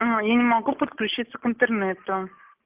я не могу подключиться к интернету